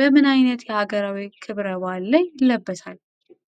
በምን ዓይነት የአገራዊ ክብረ በዓል ላይ ይለበሳል?